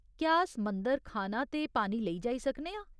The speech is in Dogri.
क्या अस मंदर खाना ते पानी लेई जाई सकने आं ?